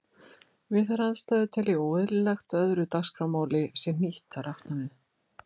Við þær aðstæður tel ég óeðlilegt að öðru dagskrármáli sé hnýtt þar aftan við.